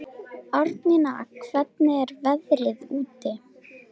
Árnína, hvernig er veðrið úti?